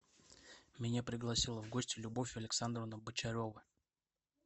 меня пригласила в гости любовь александровна бочарова